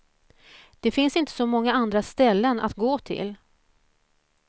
Det finns inte så många andra ställen att gå till.